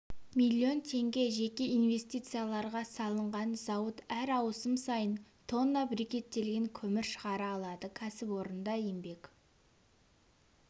миллион теңге жеке инвестицияларға салынған зауыт әр ауысым сайын тонна брикеттелген көмір шығара алады кәсіпорында еңбек